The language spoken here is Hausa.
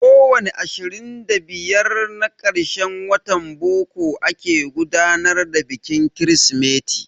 Ko wani ashirin da biyar na karshen watan boko ake gudanar da bikin Kirsimeti.